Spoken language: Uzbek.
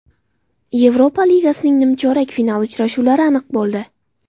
Yevropa ligasining nimchorak finali uchrashuvlari aniq bo‘ldi.